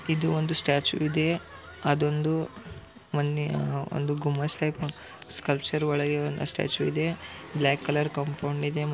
ಇದು ಒಂದು ಸ್ಟ್ಯಾಚು ಇದೆ ಅದೊಂದು ಮೊನ್ನೆಒಂದು ಗುಮಚ ಟೈಪ್ ಸ್ಕ್ಯಾಲ್ಟ್ನರ್ ಗಳ ಸ್ಟ್ಯಾಚು ಕಲರ್ ಕಾಂಪೌಂಡ್ ಇದೆ.